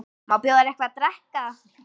Má bjóða þér eitthvað að drekka?